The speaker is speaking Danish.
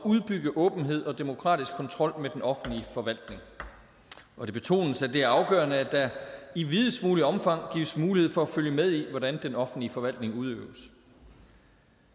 at udbygge åbenhed og demokratisk kontrol med den offentlige forvaltning det betones at det er afgørende at der i videst muligt omfang gives mulighed for at følge med i hvordan den offentlige forvaltning udøves